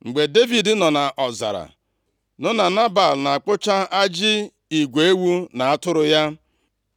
Mgbe Devid nọ nʼọzara nụ na Nebal na-akpụcha ajị igwe ewu na atụrụ ya,